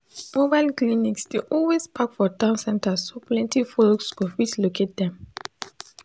mobile clinics dey always park for town centers so plenty folks go fit locate them